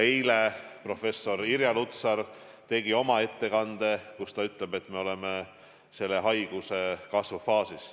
Eile tegi professor Irja Lutsar ettekande, kus ta ütles, et me oleme selle haiguse kasvu faasis.